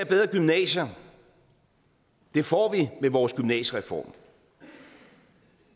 bedre gymnasier og det får vi med vores gymnasiereform